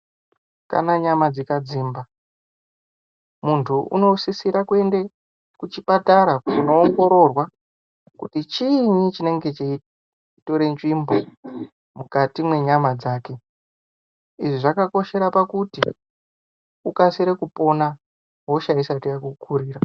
Kana nyama dzikadzimba muntu unosisira kuenda kuchipatara koongororwa kuti chiinyi chinenge cheitora nzvimbo mukati mwenyama dzake. Izvi zvakakoshera pakuti ukasire kupona hosha isati yakukurira.